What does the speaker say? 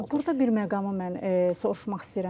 Burda bir məqamı mən soruşmaq istəyirəm sizdən.